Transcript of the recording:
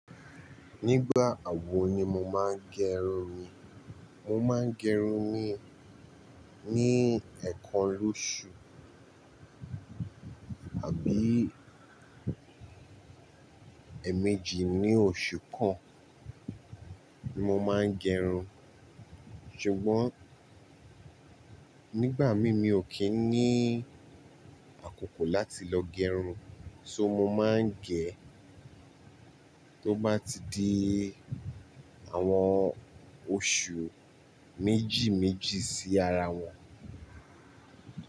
Nígbà wo ni mo máa ń gẹrun mi? Mo máa ń gẹrun mi ní ẹ̀ẹ̀kan lóṣù àbí èmejì ní oṣù kan ni mo máa ń gẹrun. Ṣùgbọ́n nígbà mi mí ò kí ń ní àkókò láti lọ gẹrun, so mo máa ń gẹ̀ tó bá ti di àwọn oṣù méjì méjì sí ara wọn.